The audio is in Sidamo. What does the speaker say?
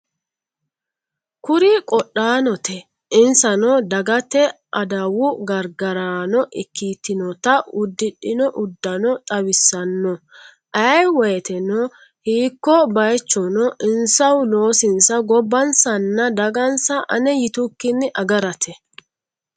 Kuri qodhaanote insano dagate adawu gargaraano ikkitinota uddidhino uddano xawissanno ayee woyteno hiikko baaychono insahu loosinsa gobbansanna dagansa ane yitukkinni agarate.